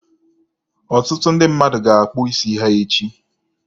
Ọtụtụ ndị mmadụ ga-akpụ isi ha echi.